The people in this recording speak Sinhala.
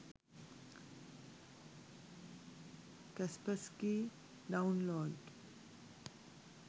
kaspersky download